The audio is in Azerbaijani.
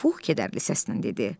Pux kədərli səslə dedi.